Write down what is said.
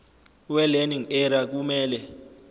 welearning area kumele